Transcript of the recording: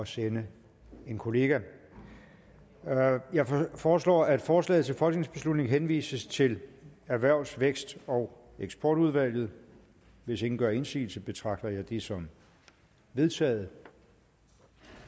sende en kollega jeg foreslår at forslaget til folketingsbeslutning henvises til erhvervs vækst og eksportudvalget hvis ingen gør indsigelse betragter jeg det som vedtaget